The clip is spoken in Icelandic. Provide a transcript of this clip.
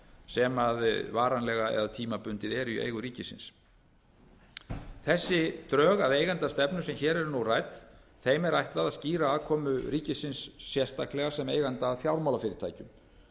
sem varanlega eða tímabundið eru í eigu ríkisins þessum drögum að eigendastefnu sem hér eru nú rædd er ætlað að skýra aðkomu ríkisins sérstaklega sem eiganda að fjármálafyrirtækjum